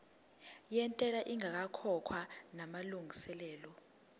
yentela ingakakhokhwa namalungiselo